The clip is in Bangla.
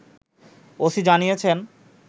ওসি জানিয়েছেন